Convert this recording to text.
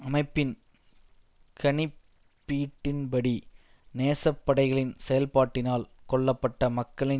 அமைப்பின் கணிப்பீட்டின் படி நேசப்படைகளின் செயல்பாட்டினால் கொல்ல பட்ட மக்களின்